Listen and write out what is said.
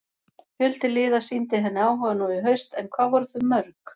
Fjöldi liða sýndi henni áhuga nú í haust en hvað voru þau mörg?